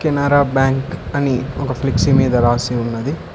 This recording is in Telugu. కెనరా బ్యాంక్ అని ఒక ఫ్లెక్సీ మీద రాసి ఉన్నది.